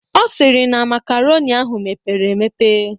Ọ sịrị na makaronị ahụ pere mpe.